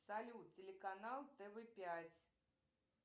салют телеканал тв пять